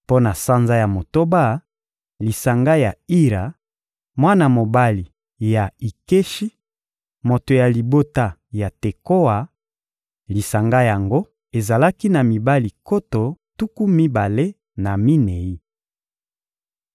Mpo na sanza ya motoba: lisanga ya Ira, mwana mobali ya Ikeshi, moto ya libota ya Tekoa; lisanga yango ezalaki na mibali nkoto tuku mibale na minei.